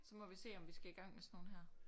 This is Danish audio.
Så må vi se om vi skal i gang med sådan nogle her